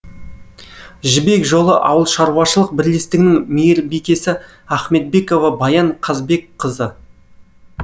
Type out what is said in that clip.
жібек жолы ауылшаруашылық бірлестігінің мейірбикесі ахметбекова баян қазбекқызы